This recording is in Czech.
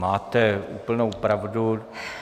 Máte úplnou pravdu.